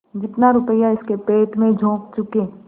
जितना रुपया इसके पेट में झोंक चुके